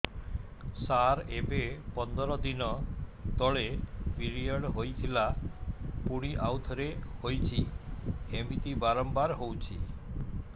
ସାର ଏବେ ପନ୍ଦର ଦିନ ତଳେ ପିରିଅଡ଼ ହୋଇଥିଲା ପୁଣି ଆଉଥରେ ହୋଇଛି ଏମିତି ବାରମ୍ବାର ହଉଛି